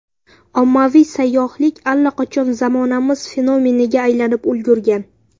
Ommaviy sayyohlik allaqachon zamonamiz fenomeniga aylanib ulgurgan.